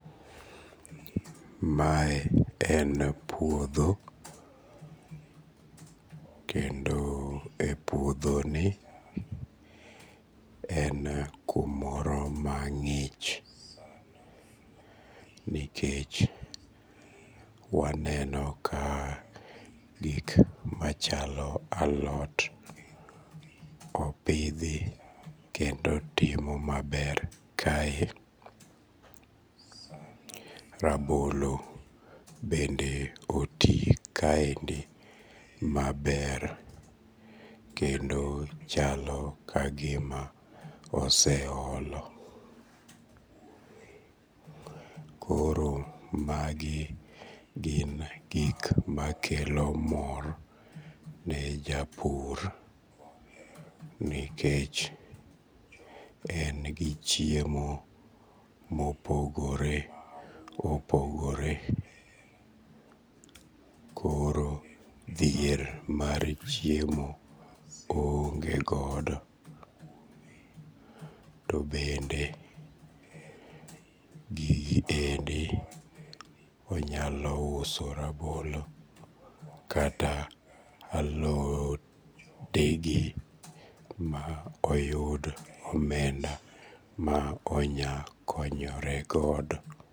Mae en puodho kendo e puodhoni en kumoro mang'ich nikech waneno ka gik machalo alot opithi kendo timo maber kae, rabolo bende oti kaendi maber kendo chalo ka gima oseolo, koro magi e gik makelo mor nikech en gi chiemo mopogore opogore koro dhier mar chiemo be oonge godo. To bende gigi bende onyalo uso rabolo kata alodege ma oyud omenda ma onya konyoregodo.